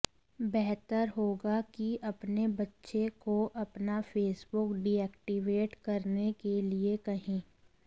बेहतर होगा कि अपने बच्चे को अपना फेसबुक डिऐक्टिवेट करने के लिए कहें